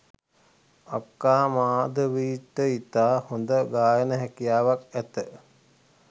අක්කා මාධවීට ඉතා හොඳ ගායන හැකියාවක් ඇත